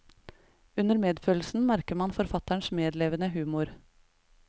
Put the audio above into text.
Under medfølelsen merker man forfatterens medlevende humor.